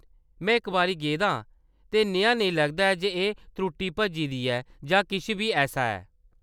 मैं इक बारी गेदा आं, ते नेहा नेईं लग्गा जे एह्‌‌ टुट्टी भज्जी दी ऐ जां किश बी ऐसा ऐ।